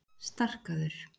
Starkaður